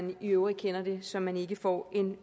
vi i øvrigt kender det så man ikke får